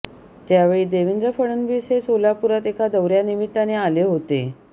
त्यावेळी देवेंद्र फडणवीस हे सोलापूरात एका दौऱ्यानिमित्ताने आले होते